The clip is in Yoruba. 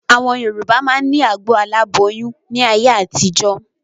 Àwọn Yorùbá máa ni agbo aláboyún ni ayé àtijọ́